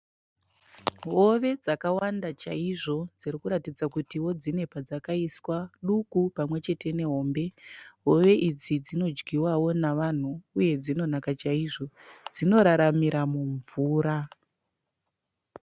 Hove dzakawanda chaizvo dzirikuratidza kutiwo dzine padzakaiswa. Duku pamwechete nehombe. Hove idzi dzinodyiwavo navanhu uye dzinonaka chaizvo. Dzinoraramira mumvura.